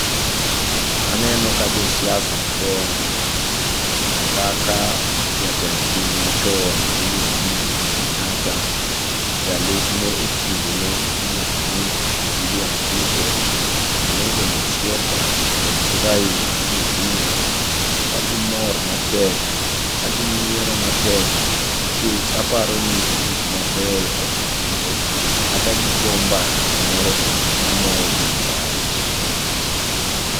Aneno ka josiasa madongo kaka jatend piny machon miluongoni Uhuru Kenyatta, jalupne ekindeno miluongoni William Ruto, Kalonzo Musyoka kodgi Raila Amolo Odinga kagimor matek, kaginyiero matek nikech aparoni gikmabeyo osetimre kata gigo mbaka moro mamorogi marach.